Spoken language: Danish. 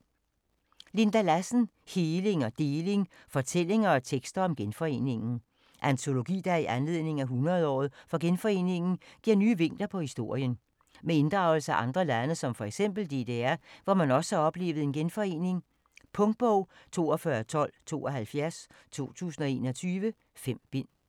Lassen, Linda: Heling og deling: fortællinger og tekster om genforeningen Antologi der i anledning af 100-året for genforeningen giver nye vinkler på historien. Med inddragelse af andre lande som f.eks. DDR, hvor man også har oplevet en genforening. Punktbog 421272 2021. 5 bind.